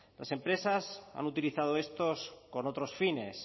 las empresas han utilizado estos con otros fines